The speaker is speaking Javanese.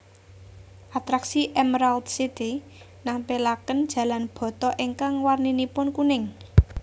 Atraksi Emerald City nampilaken jalan bata ingkang warninipun kuning